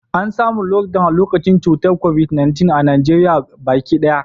An samu Lockdown lokacin cutar Covid-19 a Najeriya baki daya.